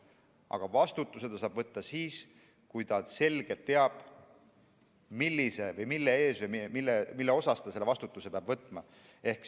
Aga vastutuse saab ta võtta siis, kui ta selgelt teab, mille eest ta selle vastutuse peab võtma.